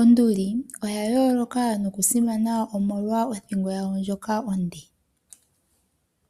Onduli oya yooloka nokusimana omolwa othingo yayo ndjoka onde.